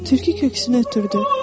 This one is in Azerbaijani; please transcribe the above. Tülkü köksünü ötürdü.